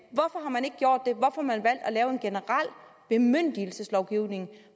lave en generel bemyndigelseslovgivning